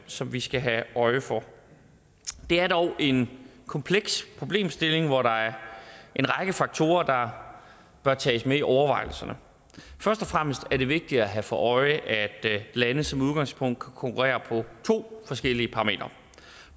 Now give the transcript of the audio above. som vi skal have øje for det er dog en kompleks problemstilling hvor der er en række faktorer der bør tages med i overvejelserne først og fremmest er det vigtigt at have for øje at lande som udgangspunkt konkurrerer på to forskellige parametre